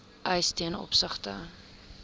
eis ten opsigte